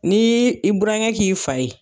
Ni i burankɛ k'i faa ye